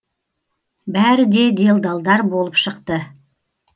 бәрі де делдалдар болып шықты